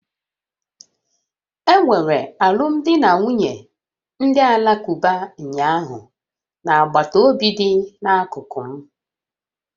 Enwere alụmdi na nwunye ndị Alakụba ụnyaahụ na agbataobi dị n'akụkụ m